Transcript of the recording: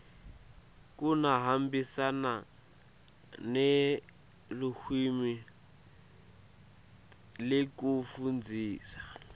kuhambisana nelulwimi lekufundzisa